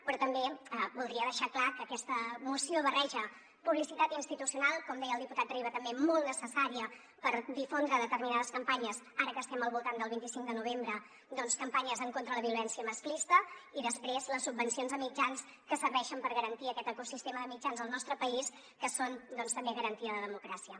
però també voldria deixar clar que aquesta moció barreja publicitat institucional com deia el diputat riba també molt necessària per difondre determinades campanyes ara que estem al voltant del vint cinc de novembre doncs campanyes en contra la violència masclista i després les subvencions a mitjans que serveixen per garantir aquest ecosistema de mitjans al nostre país que són també garantia de democràcia